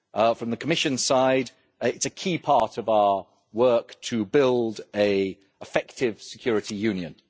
From the Commission side, it is a key part of our work to build an effective security union.